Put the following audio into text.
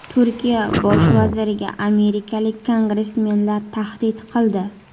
Turkiya Bosh vaziriga amerikalik kongressmenlar tahdid qildi.